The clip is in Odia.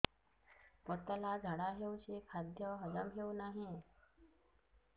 ପତଳା ଝାଡା ହେଉଛି ଖାଦ୍ୟ ହଜମ ହେଉନାହିଁ